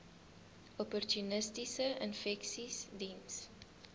opportunistiese infeksies diens